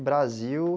Brasil.